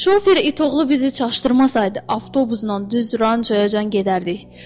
Şofer itoğlu bizi çaşdırmasaydı, avtobusnan düz Rançoya can gedərdik.